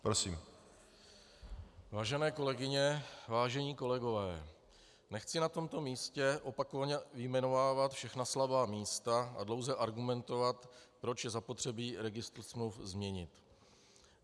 Vážené kolegyně, vážení kolegové, nechci na tomto místě opakovaně vyjmenovávat všechna slabá místa a dlouze argumentovat, proč je zapotřebí registr smluv změnit.